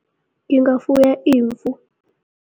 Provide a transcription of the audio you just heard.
Ngingafuya imvu.